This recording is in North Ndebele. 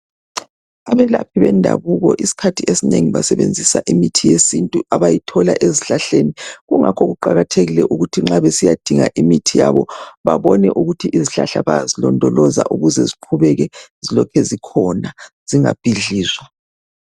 Abelaphi bendabuko isikhathi esinengi basebenzisa imithi yesintu abayithola ezihlahleni. Kungakho kuqakathekile ukuthi nxa besiyadinga imithi yabo babone ukuthi izihlahla bayazilondoloza ukuze ziqhubeke zilokhe zikhona. Zingabhidlizwa.